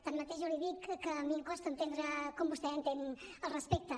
tanmateix jo li dic que a mi em costa entendre com vostè entén el respecte